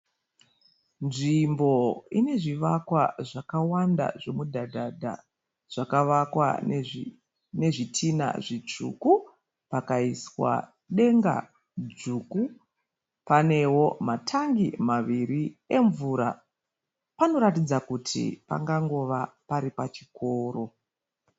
Nzvimbo ine zvivakwa zvakawanda zvemudhadhadha zvakavakwa nezvitinha zvitsvuku pakaiswa denga dzvuku. Panewo matangi maviri emvura. Panoratidza kuti pangangova pari pachikoro.